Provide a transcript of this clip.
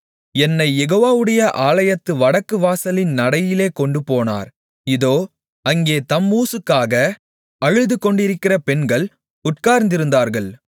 என்னைக் யெகோவாவுடைய ஆலயத்து வடக்கு வாசலின் நடையிலே கொண்டுபோனார் இதோ அங்கே தம்மூசுக்காக அழுதுகொண்டிருக்கிற பெண்கள் உட்கார்ந்திருந்தார்கள்